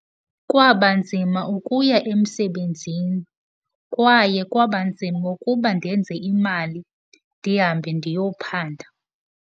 Kwaba nzima ukuya emsebenzini. Kwaye kwaba nzima ukuba ndenze imali ndihambe ndiyophanda.